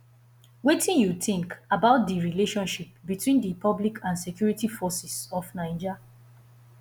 wetin you think about di relationship between di public and security forces of naija